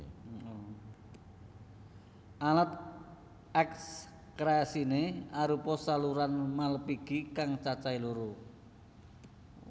Alat ekskresiné arupa saluran malphigi kang cacahé loro